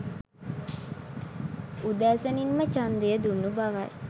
උදෑසනින්ම ඡන්දය දුන් බවයි